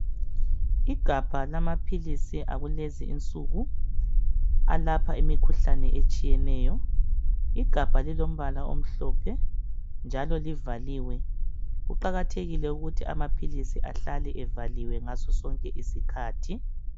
Igabha lamaphilisi akulezi insuku alapha imikhuhlane etshiyeneyo igabha lilombala omhlophe njalo livaliwe kuqakathekile ukuthi amaphilisi ahlale evaliwe ngaso sonke isikhathi.